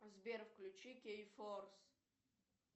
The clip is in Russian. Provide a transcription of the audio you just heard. сбер включи кей форс